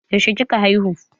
Yaushe kika haihu?